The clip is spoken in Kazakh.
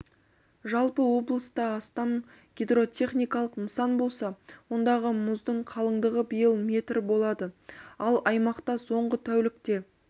жалпы облыста астам гидротехникалық нысан болса ондағы мұздың қалыңдығы биыл метр болады ал аймақта соңғы тәулікте